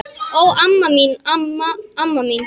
Ó, amma mín, amma mín!